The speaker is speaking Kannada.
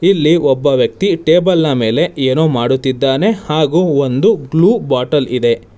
ಇಲ್ಲಿ ಒಬ್ಬ ವ್ಯಕ್ತಿ ಟೇಬಲ್ನ ಮೇಲೆ ಏನೋ ಮಾಡುತ್ತಿದ್ದಾನೆ ಹಾಗು ಒಂದು ಗ್ಲೂ ಬಾಟಲ್ ಇದೆ.